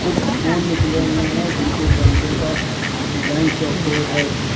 कुछ फूल निकले हुए हैं जिनके गमले का डिजाइन चौकोर है।